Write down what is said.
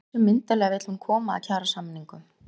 En hversu myndarlega vill hún koma að kjarasamningum?